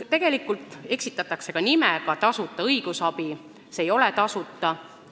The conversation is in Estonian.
Tegelikult eksitakse ka sõnastusega "tasuta õigusabi", sest see õigusabi ei ole tasuta.